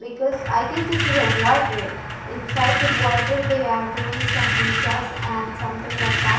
because i guess this is a inside the they are doing some poojas and something like that.